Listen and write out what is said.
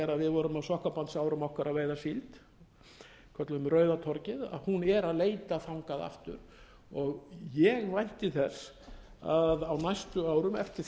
vorum á sokkabandsárum okkar að veiða síld kölluðum rauða torgið hún er að leita þangað aftur ég vænti þess að á næstu árum eftir